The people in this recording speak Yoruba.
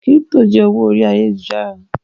crypto jẹ owó orí Ayélujára.